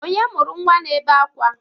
Onye mụrụ nnwa na-ebe akwa?